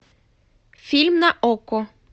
фильм на окко